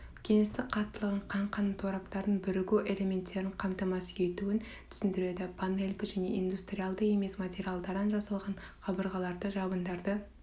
кеңістік қаттылығын қаңқаның тораптарының бірігу элементтерін қамтамасыз етуін түсіндіреді панельді және индустриалды емес материалдардан жасалған қабырғаларды жабындарды